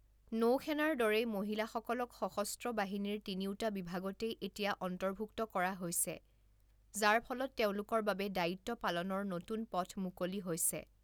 নৌসেনাৰ দৰেই, মহিলাসকলক সশস্ত্ৰ বাহিনীৰ তিনিওটা বিভাগতেই এতিয়া অন্তৰ্ভুক্ত কৰা হৈছে, যাৰ ফলত তেওঁলোকৰ বাবে দায়িত্ব পালনৰ নতুন পথ মুকলি হৈছে।